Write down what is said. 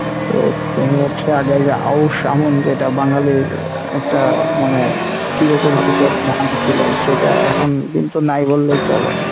তো দেখা যাচ্ছে আগে এই যে আউশ আমন যেটা বাঙালির একটা মানে চিরপরিচিত ধান ছিলো সেটা এখন কিন্তু নাই বললেই চলে।